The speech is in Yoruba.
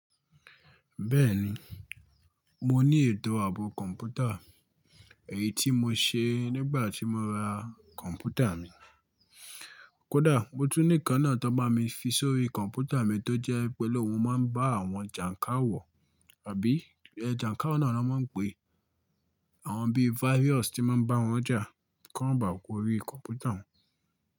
Bẹ́ẹ̀ni, mo ní ètò ààbò kọ̀mpútà, èyí tí mo ṣe nígbà tí mo ra kọ̀mpútà mi. Kódà mo tún nìkan náà tó bá mi fi sórí kọ̀ǹpútà mi tó jẹ́ pé lóun máa ń bá àwọn jàǹkàwọ̀ àbí ẹjàǹkàwọ̀ náà ló máa ń pe, àwọn bí virus tí máa ń bá wọn jà kí wọ́n bà á kó orí kọ̀ǹpútà òun.